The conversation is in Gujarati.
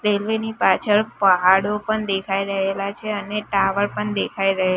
રેલ્વે ની પાછળ પહાડો પણ દેખાય રહેલા છે અને ટાવર પણ દેખાય રહે--